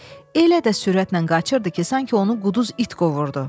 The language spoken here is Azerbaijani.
Elə də sürətlə qaçırdı ki, sanki onu quduz it qovurdu.